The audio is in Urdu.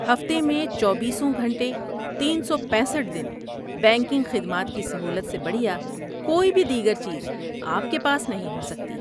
ہفتے میں چوبیسوں گھنٹے، تین سو پیسٹھ دن بینکنگ خدمات کی سہولت سے بڑھیا کوئی بھی دیگر چیز آپ کے پاس نہیں ہو سکتی